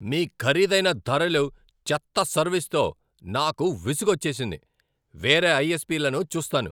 మీ ఖరీదైన ధరలు, చెత్త సర్వీస్తో నాకు విసుగొచ్చేసింది, వేరే ఐఎస్పీలను చూస్తాను.